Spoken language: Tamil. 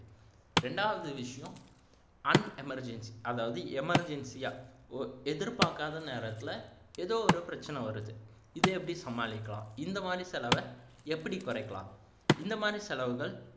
ரெண்டாவது விஷயம் an emergency அதாவது emergency ஆ எதிர்பாக்காத நேரத்துல ஏதோ ஒரு பிரச்சினை வருது இதை எப்படி சமாளிக்கலாம் இந்த மாதிரி செலவை எப்படி குறைக்கலாம் இந்த மாதிரி செலவுகள்